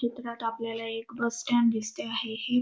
चित्रात आपल्याला एक बस स्टँड दिसते आहे हे.